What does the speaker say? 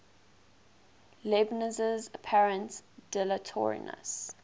leibniz's apparent dilatoriness